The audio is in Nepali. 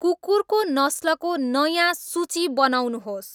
कुकुरको नस्लको नयाँ सूची बनाउनुहोस्